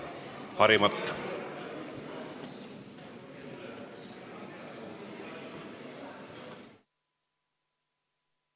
Istungi lõpp kell 12.18.